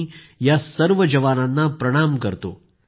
मी या सर्व जवानांना प्रणाम करतो